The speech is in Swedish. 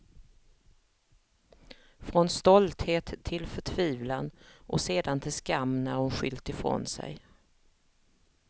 Från stolthet till förtvivlan och sedan till skam när hon skyllt ifrån sig.